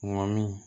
Ŋɔmi